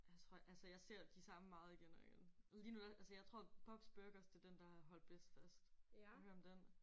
Jeg tror altså jeg ser de samme meget igen og igen. Lige nu der altså jeg tror Bobs Burgers det er den der har holdt bedst fast. Har du hørt om den?